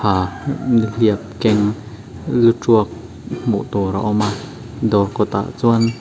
aaa nihliap keng lu tuak hmuh tur a awm a dawr kawtah chuan --